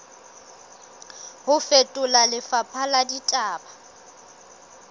ho fetola lefapha la ditaba